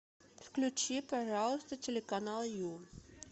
включи пожалуйста телеканал ю